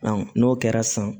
n'o kɛra san